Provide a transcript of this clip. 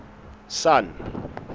sun